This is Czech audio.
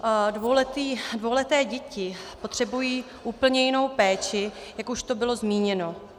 Dvouleté děti potřebují úplně jinou péči, jak už tu bylo zmíněno.